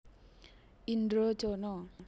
Indrojono